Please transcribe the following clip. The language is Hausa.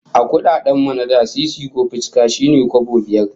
A kudaden mu na da, sisi ko ficika shine kwabo biyar